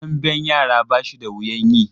Damben yara ba shi da wuyan yi.